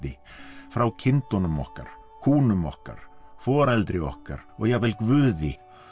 frá kindunum okkar kúnum okkar foreldri okkar og jafnvel Guði